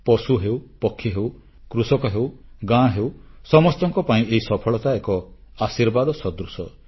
ପଶୁ ହେଉ ପକ୍ଷୀ ହେଉ କୃଷକ ହେଉ ଗାଁ ହେଉ ସମସ୍ତଙ୍କ ପାଇଁ ଏହି ସଫଳତା ଏକ ଆଶୀର୍ବାଦ ସଦୃଶ